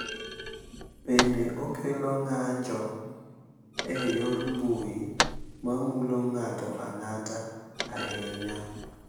Bende, okelo ng’anjo e yor mbui ma mulo ng’ato ang’ata ahinya.